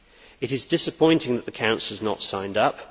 It is disappointing that the Council has not signed up.